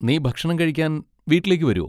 നീ ഭക്ഷണം കഴിക്കാൻ വീട്ടിലേക്ക് വരോ?